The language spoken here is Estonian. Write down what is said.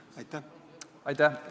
Aitäh!